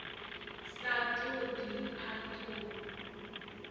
sa ṱo ḓi a ṱo